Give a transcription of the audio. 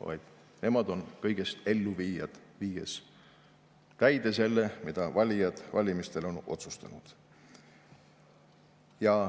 vaid nemad on kõigest elluviijad, viies täide seda, mida valijad valimistel on otsustanud.